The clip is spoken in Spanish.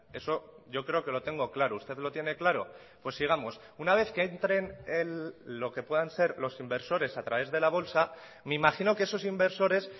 eso yo creo que lo tengo claro usted lo tiene claro pues sigamos una vez que entren lo que puedan ser los inversores a través de la bolsa me imagino que esos inversores